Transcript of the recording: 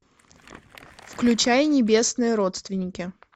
включай небесные родственники